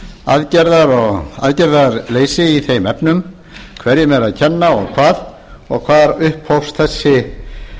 aðgerðar og aðgerðarleysi í þeim efnum hverjum er að kenna og hvar og hvar upphófst